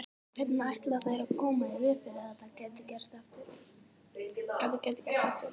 Hvernig ætla þeir að koma í veg fyrir að þetta geti gerst aftur?